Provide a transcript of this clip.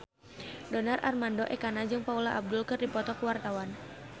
Donar Armando Ekana jeung Paula Abdul keur dipoto ku wartawan